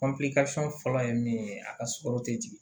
fɔlɔ ye min ye a ka sukaro te jigin